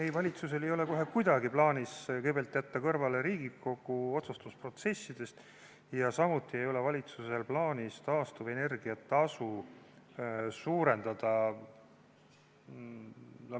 Ei, valitsusel ei ole kohe kuidagi plaanis jätta Riigikogu otsustusprotsessidest kõrvale ja samuti ei ole valitsusel plaanis taastuvenergia tasu suurendada.